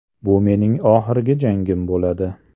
Bu mening oxirgi jangim bo‘ladi.